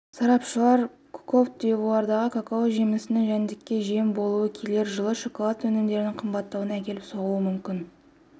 сарапшылар кот дивуардағы какао жемісінің жәндікке жем болуы келер жылы шоколад өнімдерінің қымбаттауына әкеліп соғуы мүмкін